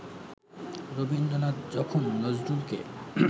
রবীন্দ্রনাথ যখন নজরুলকে